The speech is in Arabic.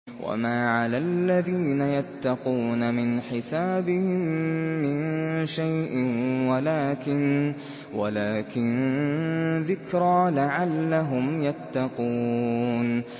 وَمَا عَلَى الَّذِينَ يَتَّقُونَ مِنْ حِسَابِهِم مِّن شَيْءٍ وَلَٰكِن ذِكْرَىٰ لَعَلَّهُمْ يَتَّقُونَ